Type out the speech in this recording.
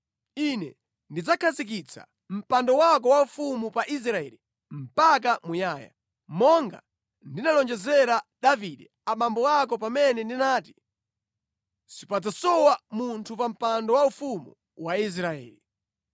Ine ndidzakhazikitsa mpando wako waufumu pa Israeli mpaka muyaya, monga ndinalonjezera abambo ako Davide pamene ndinati, ‘Sipadzasowa munthu pa mpando waufumu wa Israeli.’